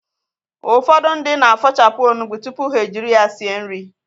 Ụfọdụ ndị na-afọ̀chapụ onugbụ tupu ha ejiri ya sie nri